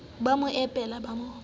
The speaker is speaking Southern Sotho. ba mo epela ba mo